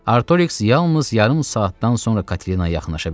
Artoriks yalnız yarım saatdan sonra Katinaya yaxınlaşa bildi.